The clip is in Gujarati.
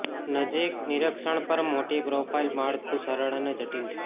નજીક નિરીક્ષણ પર માટી પ્રોફાઇલ માળખું સરળ અને જટિલ છે